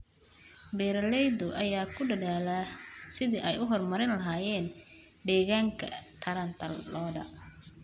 Beeralayda ayaa ku dadaalaya sidii ay u horumarin lahaayeen deegaanka taranta lo'da.